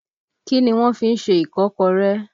Kí ni wọ́n fí ń ṣe Ìkọ́kọrẹ́?